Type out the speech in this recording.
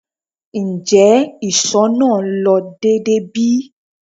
Njẹ iṣọ naa lo deede bi?